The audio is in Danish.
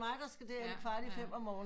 End mig der skal der ind kvart i fem om morgen